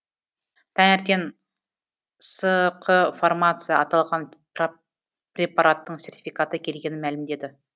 таңертең сқ фармация аталған препараттың сертификаты келгенін мәлімдеді